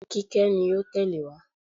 Kíkẹ́ ni ó tẹ̀lé wá.